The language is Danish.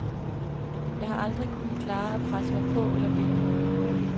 Jeg har aldrig kunnet klare at presse mig på eller bede om noget.